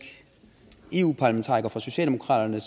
eu parlamentariker for socialdemokraterne